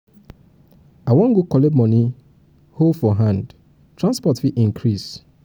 i wan go collect moni go collect moni from atm hold for hand transport fit increase.